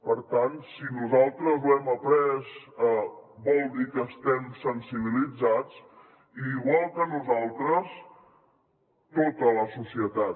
per tant si nosaltres ho hem après vol dir que estem sensibilitzats i igual que nosaltres tota la societat